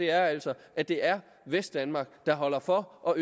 er altså at det er vestdanmark der holder for og